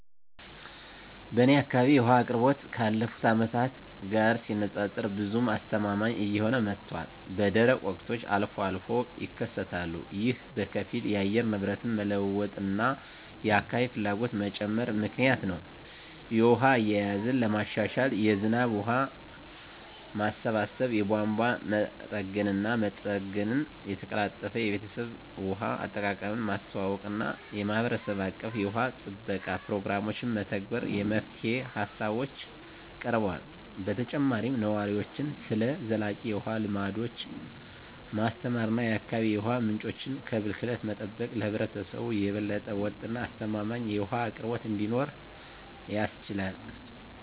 በእኔ አካባቢ የውሃ አቅርቦት ካለፉት አመታት ጋር ሲነፃፀር ብዙም አስተማማኝ እየሆነ መጥቷል፣ በደረቅ ወቅቶች አልፎ አልፎም ይከሰታሉ። ይህ በከፊል የአየር ንብረት መለዋወጥ እና የአካባቢ ፍላጎት መጨመር ምክንያት ነው. የውሃ አያያዝን ለማሻሻል የዝናብ ውሃ ማሰባሰብ፣ የቧንቧ መጠገንና መጠገን፣ የተቀላጠፈ የቤተሰብ ውሃ አጠቃቀምን ማስተዋወቅ እና የማህበረሰብ አቀፍ የውሃ ጥበቃ ፕሮግራሞችን መተግበር የመፍትሄ ሃሳቦች ቀርበዋል። በተጨማሪም ነዋሪዎችን ስለ ዘላቂ የውሃ ልምዶች ማስተማር እና የአካባቢ የውሃ ምንጮችን ከብክለት መጠበቅ ለህብረተሰቡ የበለጠ ወጥ እና አስተማማኝ የውሃ አቅርቦት እንዲኖር ያስችላል።